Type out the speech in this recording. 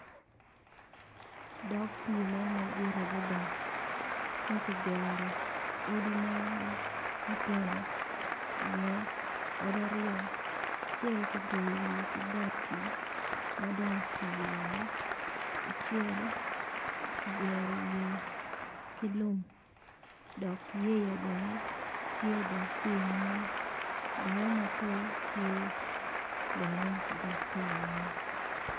Dog pi mo madit adada makigero odi mogo matino iye odi aryo acel kigoyo wiye kibati mado otii woko, acel kigero wiye kilum dok yeya bene tye i dog pi man dano mapol tye bene i dog pi man.